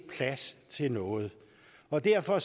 plads til noget og derfor